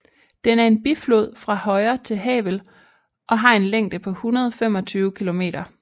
Den er en biflod fra højre til Havel og har en længde på 125 km